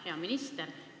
Hea minister!